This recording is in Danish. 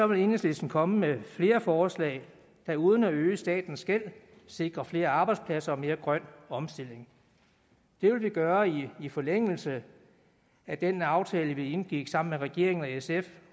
vil enhedslisten komme med flere forslag der uden at øge statens gæld sikrer flere arbejdspladser og mere grøn omstilling det vil vi gøre i forlængelse af den aftale vi indgik sammen med regeringen og sf